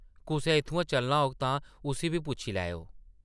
कुसै इत्थुआं चलना होग तां उस्सी बी पुच्छी लैओ ।